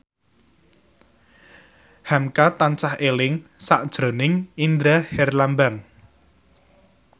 hamka tansah eling sakjroning Indra Herlambang